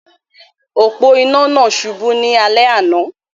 Òpó-inà náà subú ní alé àná